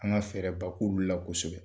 An ka fɛɛrɛ ba k'ulu la kosɛbɛ.